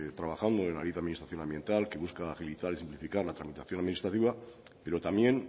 trabajando en ayuda a administración ambiental que busca agilizar y simplificar la tramitación administrativa pero también